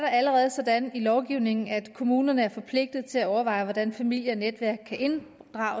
allerede sådan i lovgivningen at kommunerne er forpligtede til at overveje hvordan familie og netværk kan